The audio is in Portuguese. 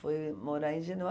Fui morar em